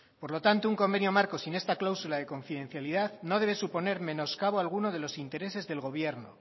por lo tanto un convenio marco sin esta cláusula de confidencialidad no debe suponer menoscabo alguno de los intereses del gobierno